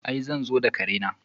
I! zan zo ka kare na.